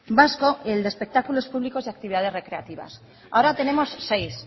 vasco y el de espectáculos públicos y actividades recreativas ahora tenemos seis